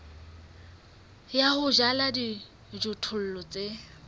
ya ho jala dijothollo tse